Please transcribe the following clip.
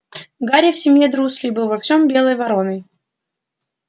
гарри в семье дурслей был во всём белой вороной